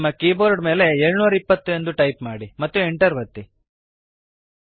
ನಿಮ್ಮ ಕೀಬೋರ್ಡ್ ಮೇಲೆ 720 ಅನ್ನು ಟೈಪ್ ಮಾಡಿರಿ ಮತ್ತು Enter ಅನ್ನು ಒತ್ತಿರಿ